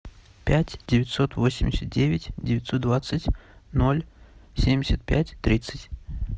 пять девятьсот восемьдесят девять девятьсот двадцать ноль семьдесят пять тридцать